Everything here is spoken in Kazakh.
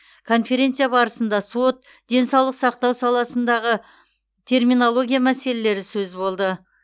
конференция барысында сот денсаулық сақтау саласындағы терминология мәселелері сөз болды